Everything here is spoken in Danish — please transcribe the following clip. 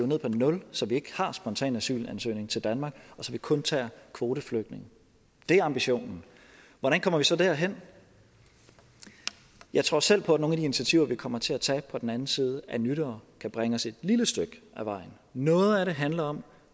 ned på nul så vi ikke har spontan asylansøgning til danmark og så vi kun tager kvoteflygtninge det er ambitionen hvordan kommer vi så derhen jeg tror selv på at nogle af de initiativer vi kommer til at tage på den anden side af nytår kan bringe os et lille stykke ad vejen noget af det handler om